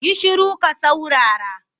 Yi shuru ka saurara